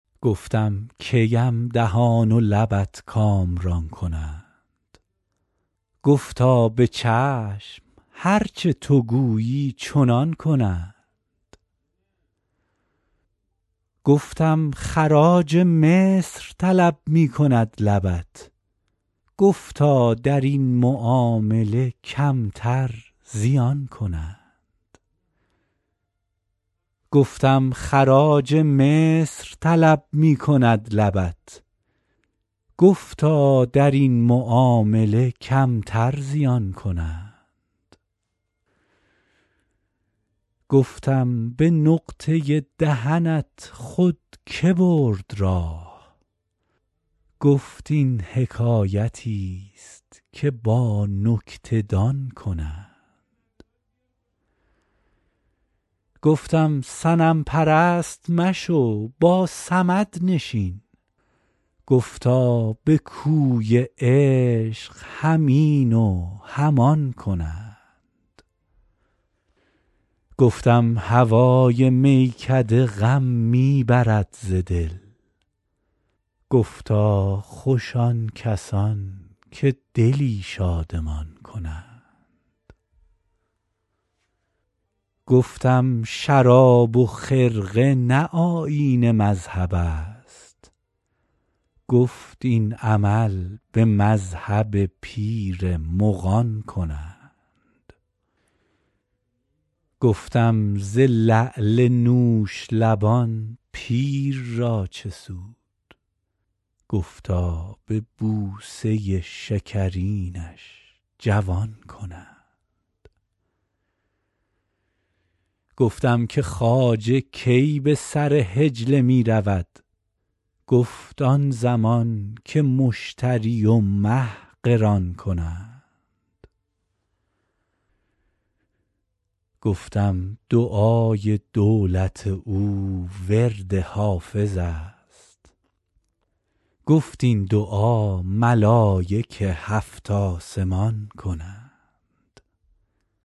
گفتم کی ام دهان و لبت کامران کنند گفتا به چشم هر چه تو گویی چنان کنند گفتم خراج مصر طلب می کند لبت گفتا در این معامله کمتر زیان کنند گفتم به نقطه دهنت خود که برد راه گفت این حکایتیست که با نکته دان کنند گفتم صنم پرست مشو با صمد نشین گفتا به کوی عشق هم این و هم آن کنند گفتم هوای میکده غم می برد ز دل گفتا خوش آن کسان که دلی شادمان کنند گفتم شراب و خرقه نه آیین مذهب است گفت این عمل به مذهب پیر مغان کنند گفتم ز لعل نوش لبان پیر را چه سود گفتا به بوسه شکرینش جوان کنند گفتم که خواجه کی به سر حجله می رود گفت آن زمان که مشتری و مه قران کنند گفتم دعای دولت او ورد حافظ است گفت این دعا ملایک هفت آسمان کنند